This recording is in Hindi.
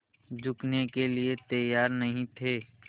झुकने के लिए तैयार नहीं थे